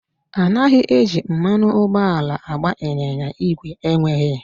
Anaghị eji mmanụ ụgbọala agba ịnyịnya ígwè enweghị